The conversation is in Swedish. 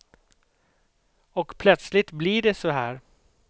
Och plötsligt blir det så här.